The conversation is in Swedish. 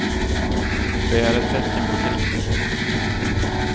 Det är ett tecken på kris.